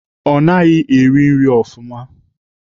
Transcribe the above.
Ọ naghị eri nri ofụma.